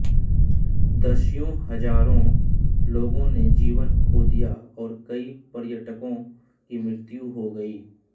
दसियों हजारों लोगों ने जीवन खो दिया और कई पर्यटकों की मृत्यु हो गई